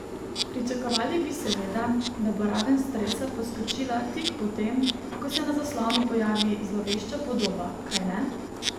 Pričakovali bi seveda, da bo raven stresa poskočila tik po tem, ko se na zaslonu pojavi zlovešča podoba, kajne?